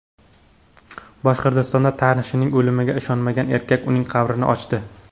Boshqirdistonda tanishining o‘limiga ishonmagan erkak uning qabrini ochdi.